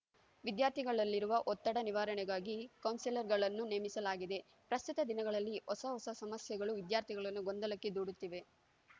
ವಿದ್ಯಾರ್ಥಿಗಳಲ್ಲಿರುವ ಒತ್ತಡ ನಿವಾರಣೆಗಾಗಿ ಕೌನ್ಸೆಲರ್‌ಗಳನ್ನು ನೇಮಿಸಲಾಗಿದೆ ಪ್ರಸ್ತುತ ದಿನಗಳಲ್ಲಿ ಹೊಸ ಹೊಸ ಸಮಸ್ಯೆಗಳು ವಿದ್ಯಾರ್ಥಿಗಳನ್ನು ಗೊಂದಲಕ್ಕೆ ದೂಡುತ್ತಿವೆ